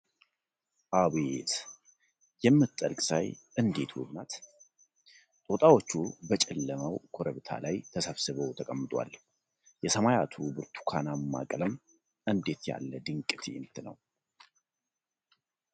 አቤት! የምትጠልቅ ፀሐይ እንዴት ውብ ናት! ጦጣዎቹ በጨለመው ኮረብታ ላይ ተሰብስበው ተቀምጠዋል! የሰማያቱ ብርቱካናማ ቀለም እንዴት ያለ ድንቅ ትዕይንት ነው!